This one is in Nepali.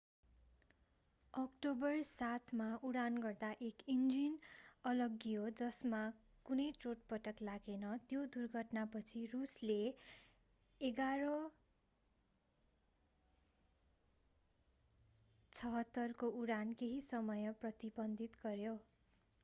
अक्टोबर 7 मा उडान गर्दा एउटा इन्जिन अलग्गियो जसमा कुनै चोटपटक लागेन। त्यो दुर्घटनापछि रूसले il-76s को उडान केही समय प्रतिबन्धित गर्‍यो।